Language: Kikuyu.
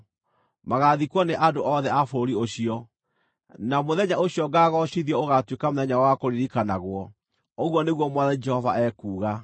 Magaathikwo nĩ andũ othe a bũrũri ũcio, na mũthenya ũcio ngaagoocithio ũgaatuĩka mũthenya wao wa kũririkanagwo, ũguo nĩguo Mwathani Jehova ekuuga.